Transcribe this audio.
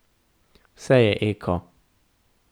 Vse je eko.